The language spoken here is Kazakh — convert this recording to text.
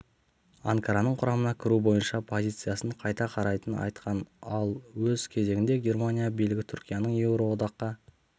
анкараның құрамына кіру бойынша позициясын қайта қарайтынын айтқан ал өз кезегінде германия билігі түркияның еуроодаққа